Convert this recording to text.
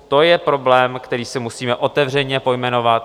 To je problém, který si musíme otevřeně pojmenovat.